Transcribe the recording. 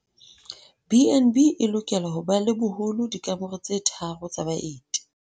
BnB e lokela ho ba le boholo dikamore tse tharo tsa baeti.